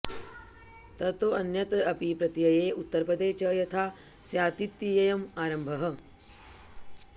ततो ऽन्यत्र अपि प्रत्यये उत्तरपदे च यथा स्यातित्ययम् आरम्भः